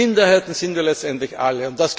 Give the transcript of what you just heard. Denn Minderheiten sind wir letztendlich alle.